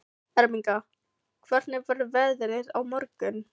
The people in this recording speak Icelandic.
Ermenga, hvernig verður veðrið á morgun?